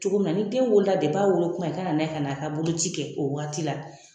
Cogo min na ni den wolola a wolokuma i ka na n'a ye ka n'a ka boloci kɛ o waati la